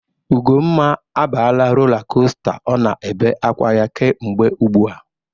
Ugomma abala rola kosta ọ na-ebe akwa ya kemgbe ugbu a.